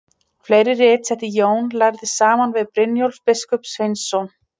Fleiri rit setti Jón lærði saman fyrir Brynjólf biskup Sveinsson.